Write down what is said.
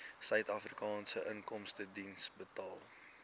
suidafrikaanse inkomstediens betaal